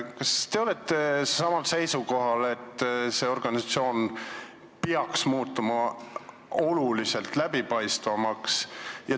Kas te olete samal seisukohal, et see organisatsioon peaks muutuma oluliselt läbipaistvamaks?